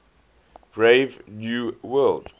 brave new world